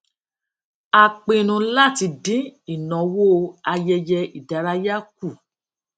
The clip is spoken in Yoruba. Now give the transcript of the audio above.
a pinnu láti dín ìnáwó ayẹyẹ ìdárayá kù